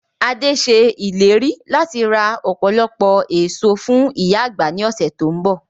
Adé ṣe ìlérí láti ra ọpọlọpọ èso fún ìyá àgbà ni ọ̀sẹ̀ to ń bọ̀.